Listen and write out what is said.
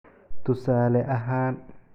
Tusaale ahaan"